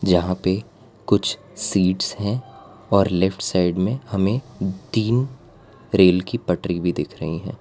जहां पे कुछ और सीट्स हैं और लेफ्ट साइड में हमें तीन रेल की पटरी भी दिख रही है।